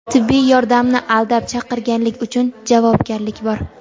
Tibbiy yordamni aldab chaqirganlik uchun javobgarlik bor.